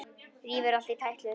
Rífur allt í tætlur.